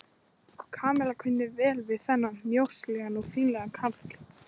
Kamilla kunni vel við þennan mjóslegna og fínlega karl.